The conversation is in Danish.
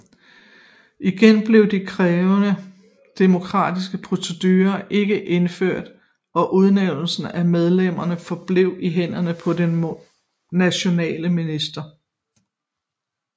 Igen blev de krævede demokratiske procedurer ikke indført og udnævnelsen af medlemmerne forblev i hænderne på de nationale ministre